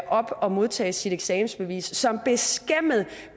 op og modtage sit eksamensbevis og som beskæmmet